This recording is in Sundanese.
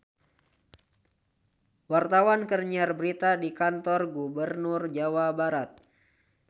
Wartawan keur nyiar berita di Kantor Gubernur Jawa Barat